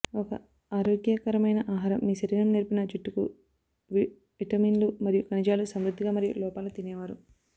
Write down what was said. ఒక ఆరోగ్యకరమైన ఆహారం మీ శరీరం నేర్పిన జుట్టు కు విటమిన్లు మరియు ఖనిజాలు సమృద్ధిగా మరియు లోపల తినేవారు